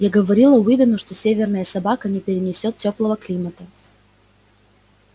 я говорила уидону что северная собака не перенесёт тёплого климата